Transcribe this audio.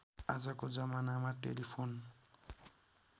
आजको जमानामा टेलिफोन